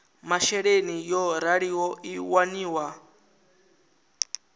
masheleni yo raliho i waniwa